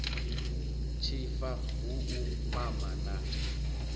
tshifa hu u mama na